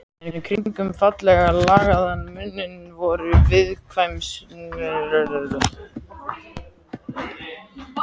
En kringum fallega lagaðan munninn voru viðkvæmnislegir drættir.